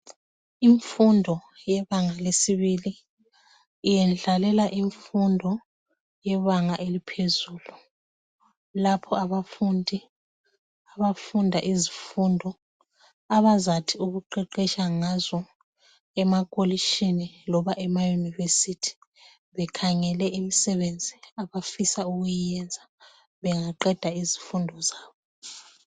imfundo yabanga lesibili iyendlalela imfundo yebanga eliphezulu lapho abafundi abafunda izifundo abazathi ukuqeqetsha ngazo ema kolitshini loba ema university bekhangele imisebenzi abafisa ukuyiyenza bengaqeda izifundo zabo